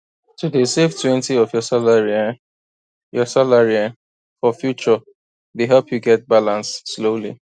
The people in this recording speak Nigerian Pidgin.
to dey savetwentyof your salary um your salary um for future dey help you get balance slowly